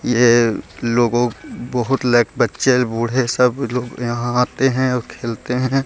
यह एक लोगों को बहुत लायक बच्चे बच्चे बूढ़े लोग आते और खेलते हैं ।